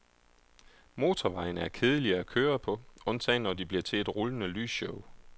Motorvejene er kedelige at køre på, undtagen når de bliver til et rullende lysshow.